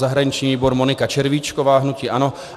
Zahraniční výbor Monika Červíčková, hnutí ANO.